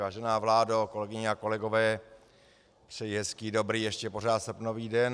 Vážená vládo, kolegyně a kolegové, přeji hezký dobrý, ještě pořád srpnový den.